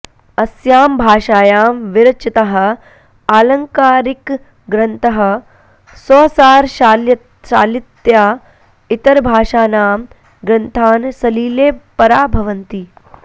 अस्यां भाषायां विरचिताः आलङ्कारिकग्रन्थाः स्वसारशालितया इतरभाषाणां ग्रन्थान् सलीले पराभवन्ति